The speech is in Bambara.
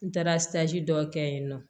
N taara dɔ kɛ yen nɔ